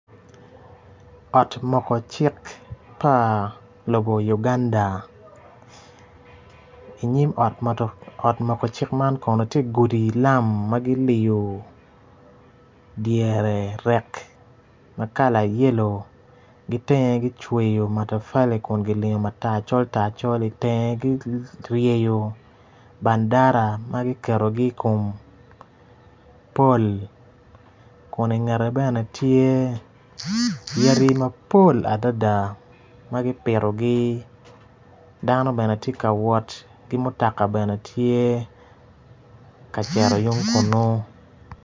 Ot moko cik pa lobo Uganda inyim ot moko cik man kono ti gudi lam ma giliyu dyere rek ma kala yelo gitenge gicweyo matafali kun gilingo matar col tar col tar itenge gireyo bandara ma giketgi i kom pol kun ingete bene tye yadi mapol adada ma gipitogi dano bene giti ka wot dano bene tye ka cito yung kunu